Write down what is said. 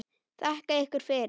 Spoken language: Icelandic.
Þakka ykkur fyrir!